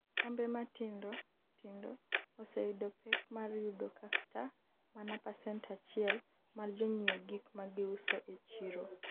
kambe matindo tindo oseyudo pek mar yudo kata mana pacent achiel mar jonyiew gik magiuso e chiro